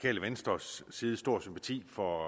venstres side stor sympati for